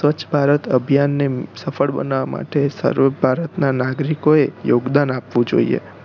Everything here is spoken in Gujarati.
સ્વચ્છ ભારત અભિયાન ને સફળ બનાવવા માટે જ દરેક ભારત નાં નાગરિકો એ યોગદાન આપવું જોઈએ